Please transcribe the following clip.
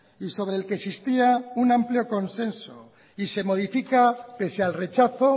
y sobre el que existía un amplio consenso y se modifica pese al rechazo